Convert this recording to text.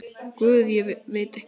Guð, veit ekki.